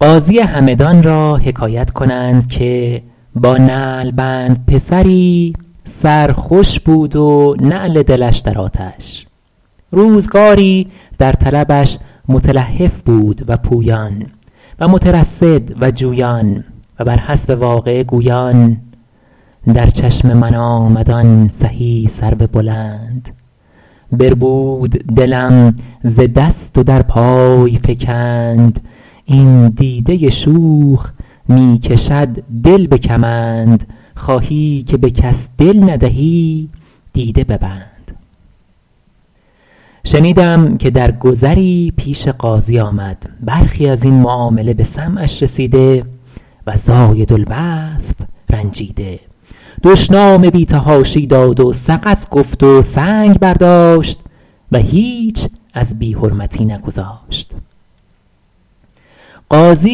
قاضی همدان را حکایت کنند که با نعلبند پسری سر خوش بود و نعل دلش در آتش روزگاری در طلبش متلهف بود و پویان و مترصد و جویان و بر حسب واقعه گویان در چشم من آمد آن سهی سرو بلند بربود دلم ز دست و در پای فکند این دیده شوخ می کشد دل به کمند خواهی که به کس دل ندهی دیده ببند شنیدم که در گذری پیش قاضی آمد برخی از این معامله به سمعش رسیده و زایدالوصف رنجیده دشنام بی تحاشی داد و سقط گفت و سنگ برداشت و هیچ از بی حرمتی نگذاشت قاضی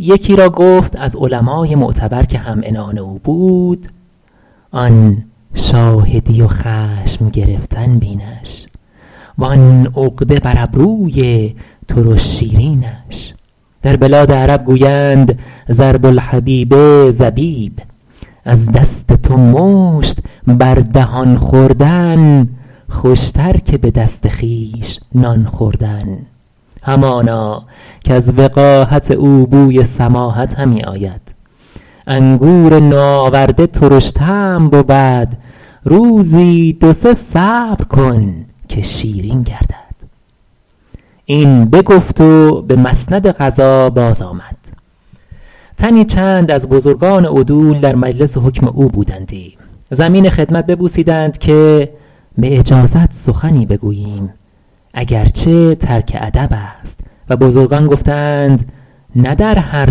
یکی را گفت از علمای معتبر که هم عنان او بود آن شاهدی و خشم گرفتن بینش و آن عقده بر ابروی ترش شیرینش در بلاد عرب گویند ضرب الحبیب زبیب از دست تو مشت بر دهان خوردن خوش تر که به دست خویش نان خوردن همانا کز وقاحت او بوی سماحت همی آید انگور نوآورده ترش طعم بود روزی دو سه صبر کن که شیرین گردد این بگفت و به مسند قضا باز آمد تنی چند از بزرگان عدول در مجلس حکم او بودندی زمین خدمت ببوسیدند که به اجازت سخنی بگوییم اگر چه ترک ادب است و بزرگان گفته اند نه در هر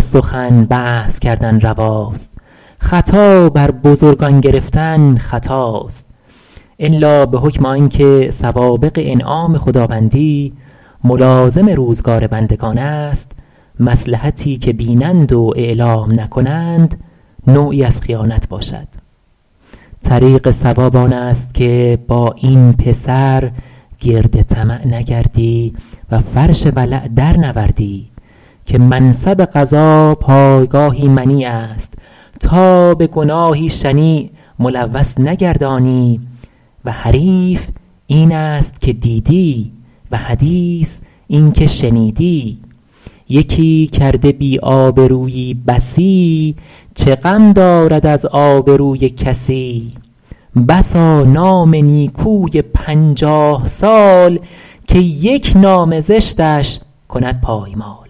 سخن بحث کردن رواست خطا بر بزرگان گرفتن خطاست الا به حکم آن که سوابق انعام خداوندی ملازم روزگار بندگان است مصلحتی که بینند و اعلام نکنند نوعی از خیانت باشد طریق صواب آن است که با این پسر گرد طمع نگردی و فرش ولع در نوردی که منصب قضا پایگاهی منیع است تا به گناهی شنیع ملوث نگردانی و حریف این است که دیدی و حدیث این که شنیدی یکی کرده بی آبرویی بسی چه غم دارد از آبروی کسی بسا نام نیکوی پنجاه سال که یک نام زشتش کند پایمال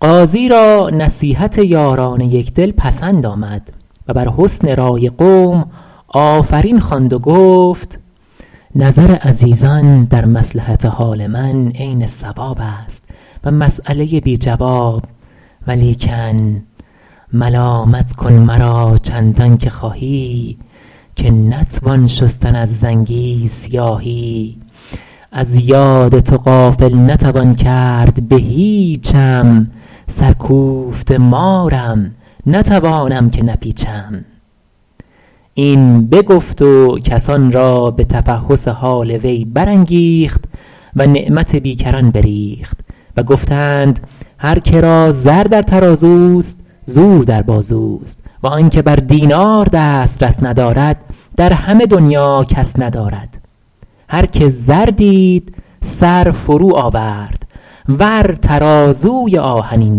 قاضی را نصیحت یاران یکدل پسند آمد و بر حسن رای قوم آفرین خواند و گفت نظر عزیزان در مصلحت حال من عین صواب است و مسیله بی جواب ولیکن ملامت کن مرا چندان که خواهی که نتوان شستن از زنگی سیاهی از یاد تو غافل نتوان کرد به هیچم سر کوفته مارم نتوانم که نپیچم این بگفت و کسان را به تفحص حال وی برانگیخت و نعمت بیکران بریخت و گفته اند هر که را زر در ترازوست زور در بازوست و آن که بر دینار دسترس ندارد در همه دنیا کس ندارد هر که زر دید سر فرو آورد ور ترازوی آهنین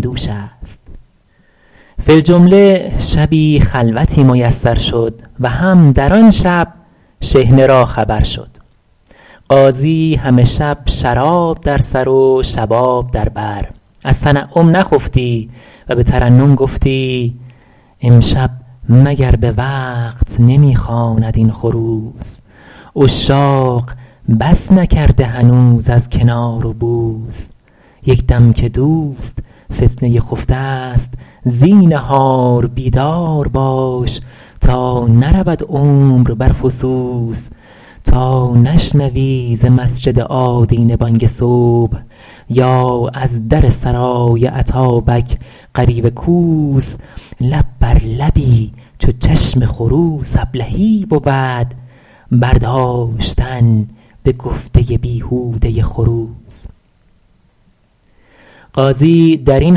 دوش است فی الجمله شبی خلوتی میسر شد و هم در آن شب شحنه را خبر شد قاضی همه شب شراب در سر و شباب در بر از تنعم نخفتی و به ترنم گفتی امشب مگر به وقت نمی خواند این خروس عشاق بس نکرده هنوز از کنار و بوس یک دم که دوست فتنه خفته است زینهار بیدار باش تا نرود عمر بر فسوس تا نشنوی ز مسجد آدینه بانگ صبح یا از در سرای اتابک غریو کوس لب بر لبی چو چشم خروس ابلهی بود برداشتن به گفتن بیهوده خروس قاضی در این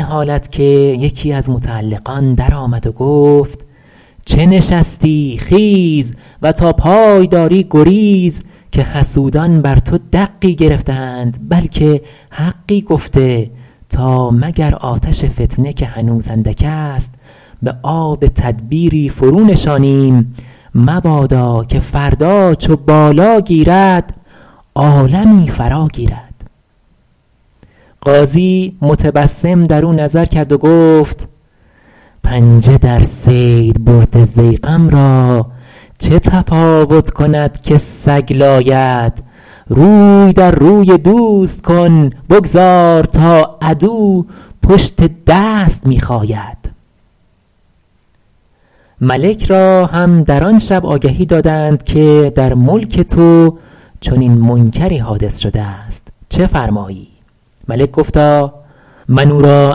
حالت که یکی از متعلقان در آمد و گفت چه نشستی خیز و تا پای داری گریز که حسودان بر تو دقی گرفته اند بلکه حقی گفته تا مگر آتش فتنه که هنوز اندک است به آب تدبیری فرو نشانیم مبادا که فردا چو بالا گیرد عالمی فرا گیرد قاضی متبسم در او نظر کرد و گفت پنجه در صید برده ضیغم را چه تفاوت کند که سگ لاید روی در روی دوست کن بگذار تا عدو پشت دست می خاید ملک را هم در آن شب آگهی دادند که در ملک تو چنین منکری حادث شده است چه فرمایی ملک گفتا من او را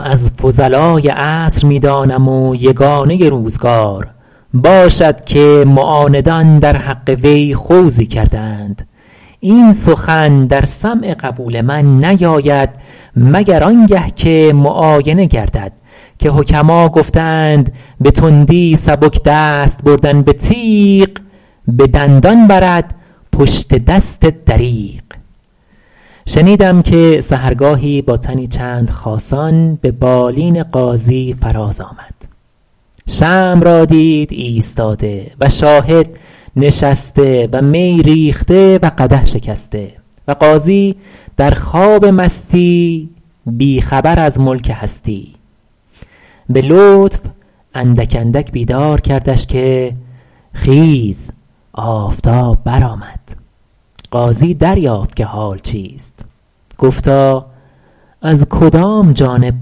از فضلای عصر می دانم و یگانه روزگار باشد که معاندان در حق وی خوضی کرده اند این سخن در سمع قبول من نیاید مگر آنگه که معاینه گردد که حکما گفته اند به تندی سبک دست بردن به تیغ به دندان برد پشت دست دریغ شنیدم که سحرگاهی با تنی چند خاصان به بالین قاضی فراز آمد شمع را دید ایستاده و شاهد نشسته و می ریخته و قدح شکسته و قاضی در خواب مستی بی خبر از ملک هستی به لطف اندک اندک بیدار کردش که خیز آفتاب برآمد قاضی دریافت که حال چیست گفتا از کدام جانب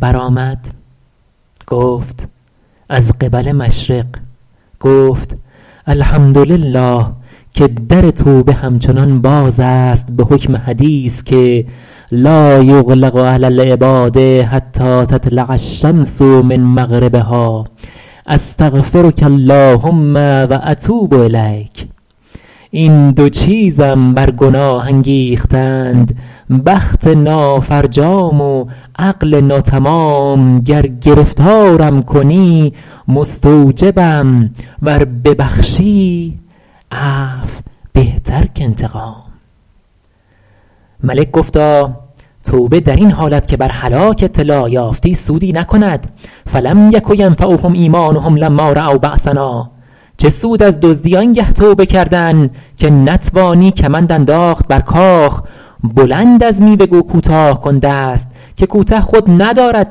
برآمد گفت از قبل مشرق گفت الحمد لله که در توبه همچنان باز است به حکم حدیث که لایغلق علی العباد حتی تطلع الشمس من مغربها استغفرک اللهم و اتوب الیک این دو چیزم بر گناه انگیختند بخت نافرجام و عقل ناتمام گر گرفتارم کنی مستوجبم ور ببخشی عفو بهتر کانتقام ملک گفتا توبه در این حالت که بر هلاک اطلاع یافتی سودی نکند فلم یک ینفعهم ایمانهم لما رأوا بأسنا چه سود از دزدی آنگه توبه کردن که نتوانی کمند انداخت بر کاخ بلند از میوه گو کوتاه کن دست که کوته خود ندارد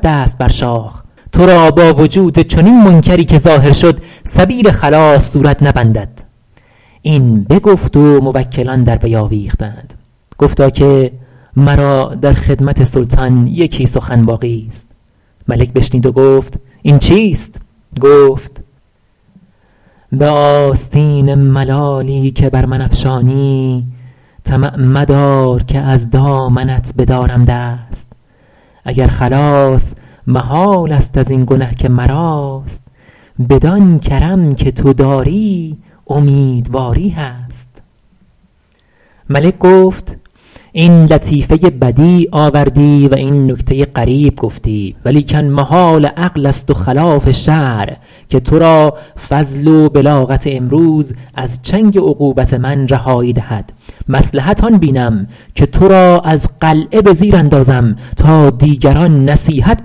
دست بر شاخ تو را با وجود چنین منکری که ظاهر شد سبیل خلاص صورت نبندد این بگفت و موکلان در وی آویختند گفتا که مرا در خدمت سلطان یکی سخن باقی ست ملک بشنید و گفت این چیست گفت به آستین ملالی که بر من افشانی طمع مدار که از دامنت بدارم دست اگر خلاص محال است از این گنه که مراست بدان کرم که تو داری امیدواری هست ملک گفت این لطیفه بدیع آوردی و این نکته غریب گفتی ولیکن محال عقل است و خلاف شرع که تو را فضل و بلاغت امروز از چنگ عقوبت من رهایی دهد مصلحت آن بینم که تو را از قلعه به زیر اندازم تا دیگران نصیحت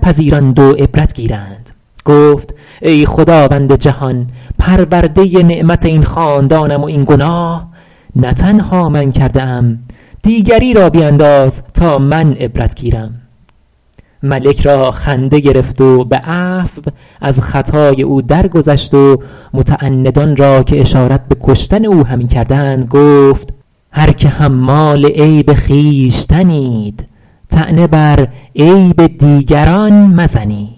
پذیرند و عبرت گیرند گفت ای خداوند جهان پرورده نعمت این خاندانم و این گناه نه تنها من کرده ام دیگری را بینداز تا من عبرت گیرم ملک را خنده گرفت و به عفو از خطای او در گذشت و متعندان را که اشارت به کشتن او همی کردند گفت هر که حمال عیب خویشتنید طعنه بر عیب دیگران مزنید